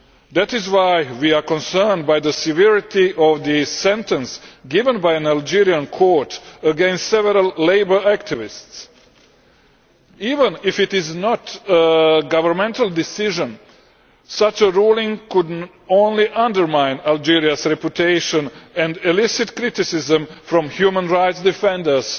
That is why we are concerned by the severity of the sentence given by an Algerian court against several labour activists. Even if it is not a governmental decision, such a ruling could only undermine Algeria's reputation and elicit criticism from human rights defenders,